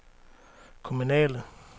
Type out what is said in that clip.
kommunale